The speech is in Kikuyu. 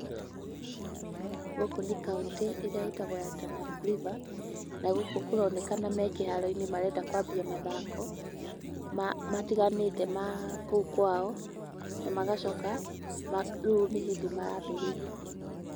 Gũkũ nĩ kauntĩ ĩrĩa ĩtagwo ya Tana River, na gũkũ kũronekana me kĩharo-inĩ, marenda kwambia mathako matiganĩte ma kũu kwao na magacoka rĩu nĩ hĩndĩ marambĩrĩria.